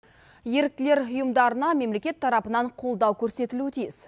еріктілер ұйымдарына мемлекет тарапынан қолдау көрсетілуі тиіс